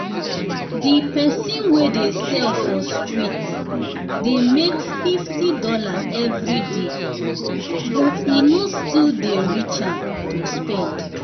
di um person wey dey sell for street dey make fifty dollarseveryday um but e still no dey um reach am to spend